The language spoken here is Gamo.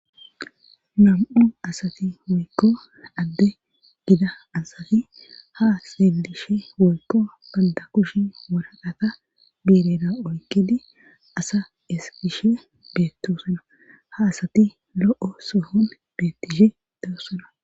nam7u asati wolko adde gida asati ha seelishe wolko banda kushi waraqata bireda oykidi asa eskishe beettosuna ha asati lo7o sohon beettishe dawusona